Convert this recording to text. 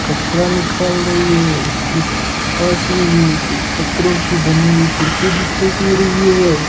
कचरा निकाल रही है इसके पास में एक पत्थरों की बनी हुई कुर्सी दिखाई दे रही है।